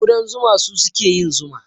Ƙudan zuma su suke yin zuma.